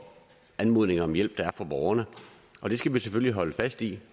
anmodninger om hjælp der kommer fra borgerne og det skal vi selvfølgelig holde fast i